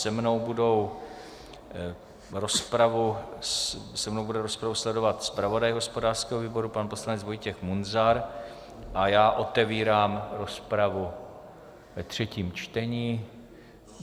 Se mnou bude rozpravu sledovat zpravodaj hospodářského výboru pan poslanec Vojtěch Munzar a já otevírám rozpravu ve třetím čtení.